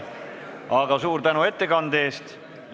Aga suur tänu ettekande eest!